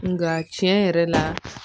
Nka tiɲɛ yɛrɛ la